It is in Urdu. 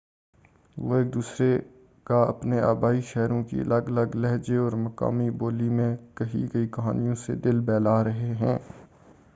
وہ ایک دوسرے کا اپنے آبائی شہروں کی الگ الگ لہجے اور مقامی بولی میں کہی گئی کہانیوں سے دل بہلا رہے ہیں